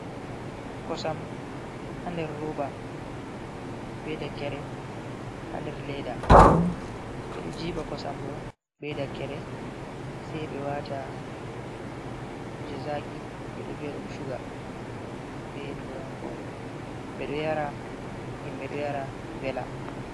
Kosam ha nder roba, be dakere hander ledda, ɓeɗo jiɓa kosam ɗo be dakkere sai ɓe wata kuje zaki be ɗo vi’a ɗum shuga, be turankore ɓedo yara himbe do yara vela.